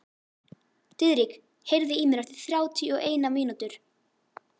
Diðrik, heyrðu í mér eftir þrjátíu og eina mínútur.